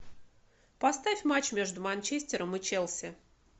поставь матч между манчестером и челси